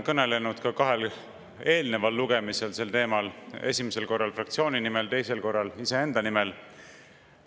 Kõnelesin ka kahel eelneval lugemisel sel teemal, esimesel korral fraktsiooni nimel, teisel korral iseenda nimel.